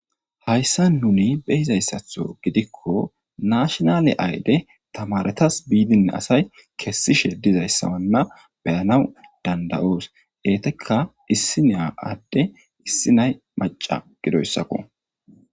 Hayssan nuni behizayssatho gidikko naashinaale ayde tamaretas biidinne asay kessishe dizayssawanna beyanaw danda7oos. Eetekka issinnay adde issinnay macca gidoyssakko.